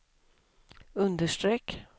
understreck